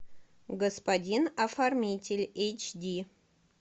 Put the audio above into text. господин оформитель эйч ди